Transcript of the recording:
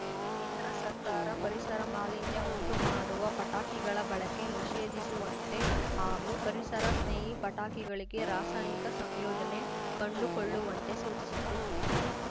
ಕೇಂದ್ರ ಸರ್ಕಾರ ಪರಿಸರ ಮಾಲಿನ್ಯ ಉಂಟು ಮಾಡುವ ಪಟಾಕಿಗಳ ಬಳಕೆ ನಿಷೇಧಿಸುವಂತೆ ಹಾಗೂ ಪರಿಸರ ಸ್ನೇಹಿ ಪಟಾಕಿಗಳಿಗೆ ರಾಸಾಯನಿಕ ಸಂಯೋಜನೆ ಕಂಡುಕೊಳ್ಳುವಂತೆ ಸೂಚಿಸಿತು